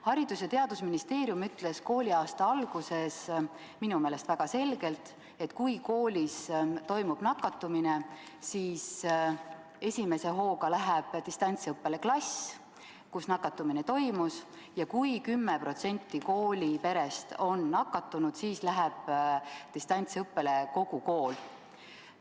Haridus- ja Teadusministeerium ütles kooliaasta alguses minu meelest väga selgelt, et kui koolis toimub nakatumine, siis esimese hooga läheb distantsõppele klass, kus nakatumine toimus, ja kui 10% kooliperest on nakatunud, siis läheb distantsõppele kogu kool.